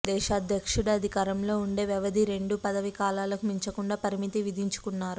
దేశాధ్యక్షుడు అధికారంలో ఉండే వ్యవధి రెండు పదవీ కాలాలకు మించకుండా పరిమితి విధించుకున్నారు